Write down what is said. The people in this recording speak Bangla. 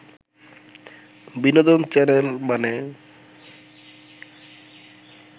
বিনোদন চ্যানেল মানে